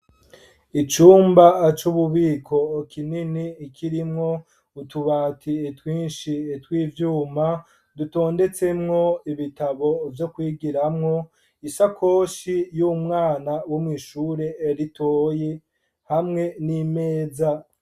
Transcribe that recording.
Icumba c'ububiko kinini kirimwo utubati twinshi tw'ivyuma , dutondetsemwo ibitabo vyo kwigiramwo, isakoshi y'umwana wo mw'ishure ritoyi hamwe n'imeza.